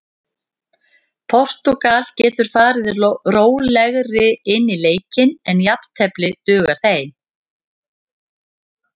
Portúgal geta farið rólegri inn í leikinn en jafntefli dugar þeim.